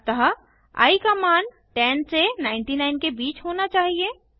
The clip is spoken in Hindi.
अतः आई का मान 10 से 99 के बीच होना चाहिए